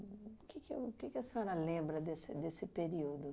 O que que o o que que a senhora lembra desse desse período?